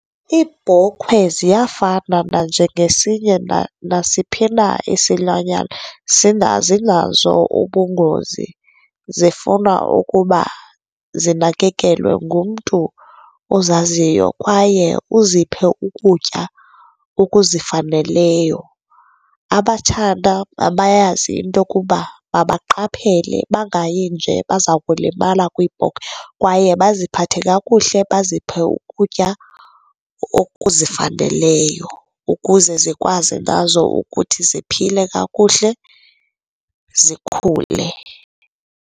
Iibhokhwe ziyafana nanjengesinye nasiphina isilwanyana zinazo ubungoz,i zifuna ukuba zinakekelwe ngumntu ozaziyo kwaye uziphe ukutya okuzifaneleyo. Abatshana mabayazi into yokuba mabaqaphele bangayi nje baza kulimala kwiibhokhwe kwaye baziphathe kakuhle, baziphe ukutya okuzifaneleyo ukuze zikwazi nazo ukuthi ziphile kakuhle zikhule.